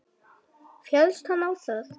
Féllst hann á það.